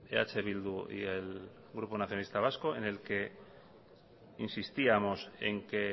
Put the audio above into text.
eh bildu y el grupo nacionalista vasco en el que insistíamos en que